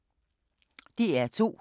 DR2